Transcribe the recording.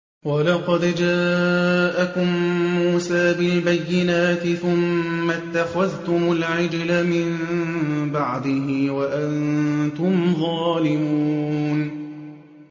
۞ وَلَقَدْ جَاءَكُم مُّوسَىٰ بِالْبَيِّنَاتِ ثُمَّ اتَّخَذْتُمُ الْعِجْلَ مِن بَعْدِهِ وَأَنتُمْ ظَالِمُونَ